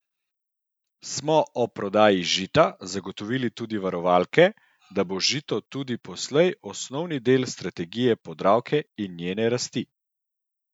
Smo ob prodaji Žita zagotovili tudi varovalke, da bo Žito tudi poslej osnovni del strategije Podravke in njene rasti?